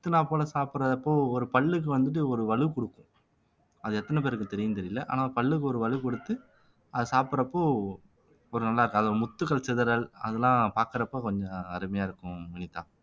முத்தினா போல சாப்பிடுறப்போ ஒரு பல்லுக்கு வந்துட்டு ஒரு வலு கொடுக்கும் அது எத்தன பேருக்கு தெரியும்னு தெரியல ஆனா பல்லுக்கு ஒரு வலு கொடுத்து அதை சாப்பிடுறப்போ ஒரு நல்லா இருக்கும் அது முத்துக்கள் சிதறல் அதெல்லாம் பார்க்கிறப்ப கொஞ்சம் அருமையா இருக்கும் வினிதா